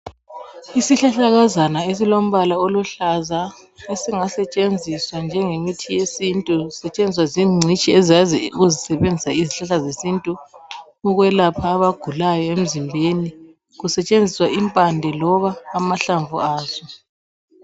Isihlahlakazana esilombala oluhlaza ezingasetshenziswa njengemithi yesintu, sisetshenziswa zingcitshi ezazi ukuzisebenzisa izihlahla zesintu ukwelapha abagulayo emzimbeni, kusetshenziswa impande loba amahlamvu aso.